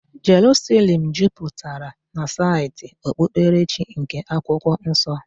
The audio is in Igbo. Jeruselem juputara na saịtị okpukperechi nke Akwụkwọ Nsọ.